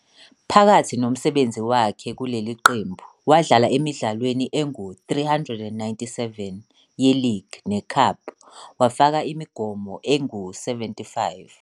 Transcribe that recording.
Phakathi nomsebenzi wakhe kuleli qembu, wadlala emidlalweni engu-397 ye-league ne-cup, wafaka imigomo engu-75.